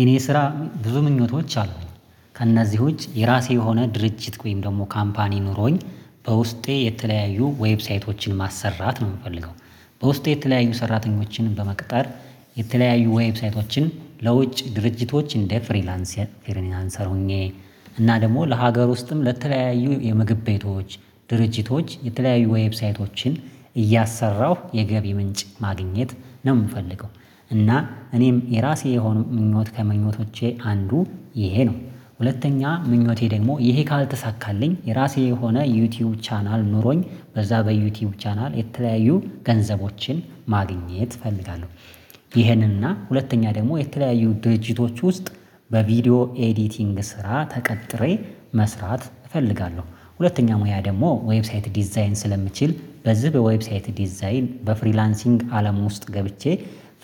የኔ ስራ ብዙ ምኞቶች አሉኝ ከእነዚህ ውጪ የራሴ የሆነ ድርጅት ወይም ደግሞ ካምፓኒ ኖሮኝ በውስጤ የተለያዩ ዌብሳይቶችን ማሰራት ነው የምፈልገው። በውስጤ የተለያዩ ሰራተኞችን በመቅጠር የተለያዩ ዌብሳይቶችን ለውጭ ድርጅቶች እንደ ፍሪላንሰር ሆኜ። እና ደግሞ ለሀገር ውስጥም ለተለያዩ የምግብ ቤቶች ድርጅቶች የተለያዩ ዌብሳይቶችን እያሰራሁ የገቢ ምንጭ ማግኘት ነው የምፈልገው። እና እኔም የራሴ የሆኑ ምኞት ከምኞቶቼ አንዱ ይሄ ነው። ሁለተኛ ምኞቴ ደግሞ ይሄ ካልተሳካልኝ የራሴ የሆነ ዩቲዩብ ቻናል ኖሮኝ በዛ በዩቲዩብ ቻናል የተለያዩ ገንዘቦችን ማግኘት እፈልጋለሁ። ይሄንን እና ሁለተኛ ደግሞ የተለያዩ ድርጅቶች ውስጥ በቪዲዮ ኤዲቲንግ ስራ ተቀጥሬ መስራት እፈልጋለሁ። ሁለተኛ ሙያ ደግሞ ዌብሳይት ዲዛይን ስለምችል በዚህ በዌብሳይት ዲዛይን በፍሪላንሲንግ አለም ውስጥ ገብቼ